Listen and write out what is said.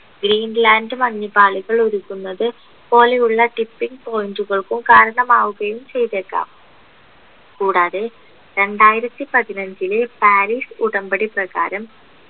green land മഞ്ഞുപാളികൾ ഉരുകുന്നത് പോലെയുള്ള tipping point കൾക്കും കരണമാവുകയും ചെയ്തേക്കാം കൂടാതെ രണ്ടായിരത്തി പതിനഞ്ചിലെ പാരീസ് ഉടമ്പടി പ്രകാരം